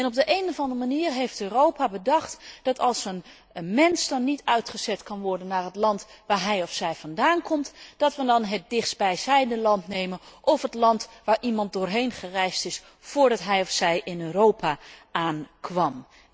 En op de een of andere manier heeft Europa bedacht dat, als een mens niet uitgezet kan worden naar het land waar hij of zij vandaan komt, wij dan maar het dichtstbijzijnde land nemen of het land waar iemand doorheen gereisd is voordat hij of zij in Europa aankwam.